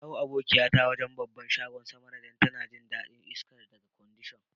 Na jayo abokiya ta wajen' babban shagon Samara dan ta na jin dadin iska daga kwandishan.